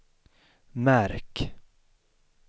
märk